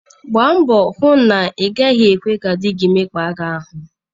Gbaa mbọ hụ na ị gaghị ekwe ka di gị mekpaa gị ahụ.